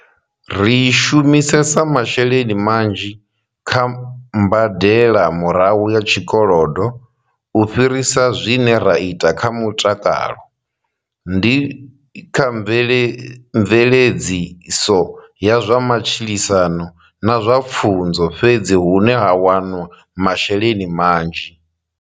Ri shumisesa masheleni manzhi kha mbadelamurahu ya tshikolodo u fhirisa zwine ra ita kha mutakalo, ndi kha mveledziso ya zwa matshilisano na zwa pfunzo fhedzi hune ha wanwa masheleni manzhi.